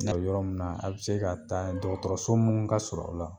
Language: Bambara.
O yɔrɔ mun na a bɛ se ka taa y dɔgɔtɔrɔso mun ka sur'aw la.